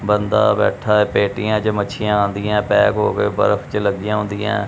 ਬੰਦਾ ਬੈਠਾ ਹੈ ਪੇਟੀਆਂ ਚ ਮੱਛੀਆਂ ਆਉਂਦੀਆਂ ਪੈਕ ਹੋਕੇ ਬਰਫ਼ ਚ ਲੱਗੀਆਂ ਹੁੰਦੀਆਂ।